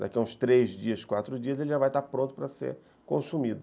Daqui a uns três dias, quatro dias, ele já vai estar pronto para ser consumido.